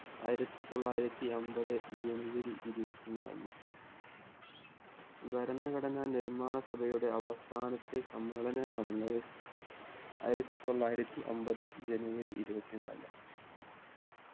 ആയിരത്തി തൊള്ളായിരത്തി അമ്പത് ജനുവരി ഇരുപത്തി നാലിന് ഭരണഘടനാ നിർമ്മാണ സഭയുടെ അവസാനത്തെ സമ്മേളനം നടന്നത് ആയിരത്തി തൊള്ളായിരത്തി അമ്പത് ജനുവരി ഇരുപത്തി നാലിന്